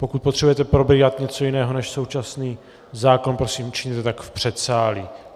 Pokud potřebujete probírat něco jiného než současný zákon, prosím, učiňte tak v předsálí.